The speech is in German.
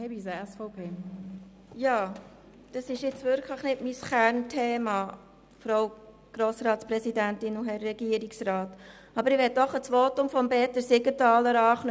Das ist nun wirklich nicht mein Kernthema, aber ich möchte an das Votum von Grossrat Siegenthaler anknüpfen.